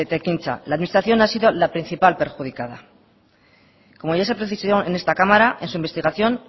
ekintza la administración ha sido la principal perjudicada como ya se precisó en esta cámara en su investigación